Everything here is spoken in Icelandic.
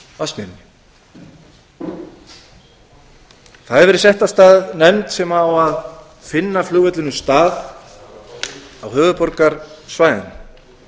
vatnsmýrinni það hefur verið sett af stað nefnd sem á að finna flugvellinum stað á höfuðborgarsvæðinu að